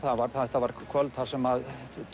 þetta var kvöld þar sem